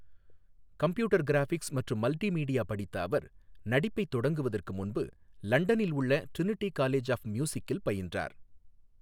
Computer graphics மற்றும் multimedia படித்த அவர், நடிப்பைத் தொடங்குவதற்கு முன்பு லண்டனில் உள்ள டிரினிட்டி காலேஜ் ஆஃப் மியூசிக்கில் பயின்றார்.